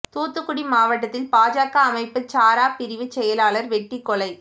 தூத்துக்குடி மாவட்டத்தில் பாஜக அமைப்புச் சாரா பிரிவு செயலாளர் வெட்டிக் கொலை